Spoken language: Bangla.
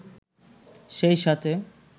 সেই সাথে